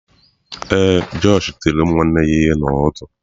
Ee, josh tiri ụmụnne ya ihe n’ụtụtụ.